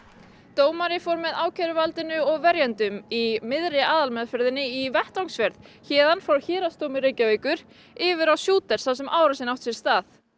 dómari fór með ákæruvaldinu og verjendum í miðri aðalmeðferðinni í vettvangsferð héðan frá Héraðsdómi Reykjavíkur yfir á Shooters þar sem að árásin átti sér stað